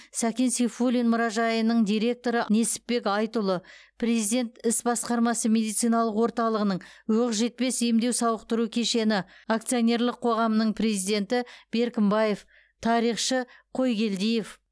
сәкен сейфуллиннің мұражайының директоры несіпбек айтұлы президент іс басқармасы медициналық орталығының оқжетпес емдеу сауықтыру кешені акционерлік қоғамының президенті беркінбаев тарихшы қойгелдиев